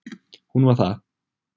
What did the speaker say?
Hún var það.